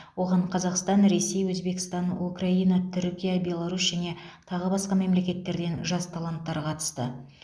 оған қазақстан ресей өзбекстан украина түркия беларусь және тағы басқа мемлекеттерден жас таланттар қатысты